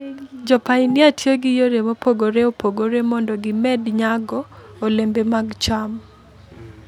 Jopainia tiyo gi yore mopogore opogore mondo gimed nyago olembe mag cham.